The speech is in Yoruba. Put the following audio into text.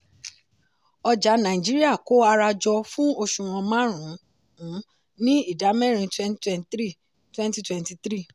ọjà nàìjíríà kó ara jọ fún òṣùwọ̀n márùn-ún ní ìdámẹ́rin twenty twenty three twenty twenty three.